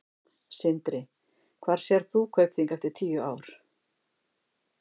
Sindri: Hvar sérð þú Kaupþing eftir tíu ár?